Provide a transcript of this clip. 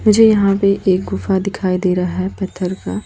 मुझे यहां पे एक गुफा दिखाई दे रहा है पत्थर का--